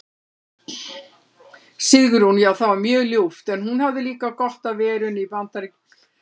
Sigrún: Já það var mjög ljúft en hún hafði líka gott af verunni í BAndaríkjunum.